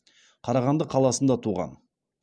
қарағанды қаласында туған